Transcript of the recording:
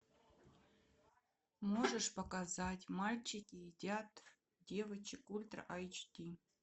можешь показать мальчики едят девочек ультра айч ди